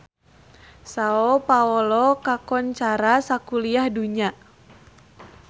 Sao Paolo kakoncara sakuliah dunya